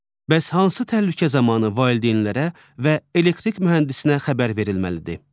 Bəs hansı təhlükə zamanı valideynlərə və elektrik mühəndisinə xəbər verilməlidir?